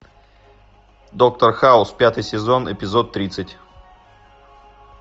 доктор хаус пятый сезон эпизод тридцать